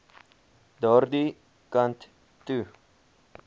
daardie kant toe